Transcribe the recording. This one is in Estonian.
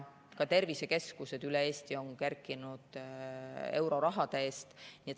Ka tervisekeskused üle Eesti on kerkinud euroraha eest.